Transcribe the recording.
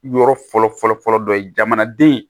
Yɔrɔ fɔlɔ fɔlɔ fɔlɔ dɔ ye jamanaden